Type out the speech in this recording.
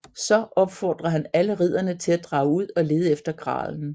Så opfordrer han alle ridderne til at drage ud og lede efter gralen